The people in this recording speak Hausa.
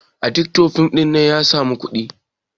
editian fim ɗin nan ya samu kuɗi